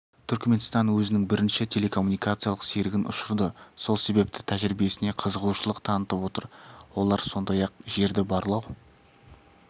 түркменстан өзінің бірінші телекоммуникациялық серігін ұшырды сол себепті тәжірибесіне қызығушылық танытып отыр олар сондай-ақ жерді барлау